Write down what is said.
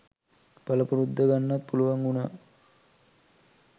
පලපුරුද්ද ගන්නත් පුලුවන් උනා.